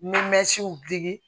digi